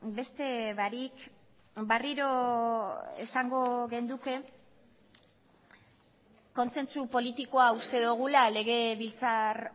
beste barik berriro esango genuke kontzentzu politikoa uste dugula legebiltzar